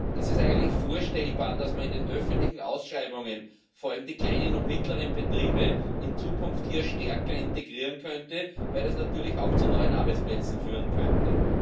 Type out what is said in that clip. Ist es eigentlich vorstellbar, dass man in den öffentlichen Ausschreibungen vor allem die kleinen und mittleren Betriebe in Zukunft hier stärker integriert, weil das natürlich auch zu neuen Arbeitsplätzen führen könnte?